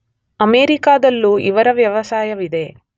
ಅಮೆರಿಕದಲ್ಲೂ ಇದರ ವ್ಯವಸಾಯವಿದೆ.